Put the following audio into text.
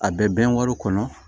A bɛ bɛn wari kɔnɔ